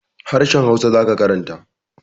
Harahen hausa zaka karanta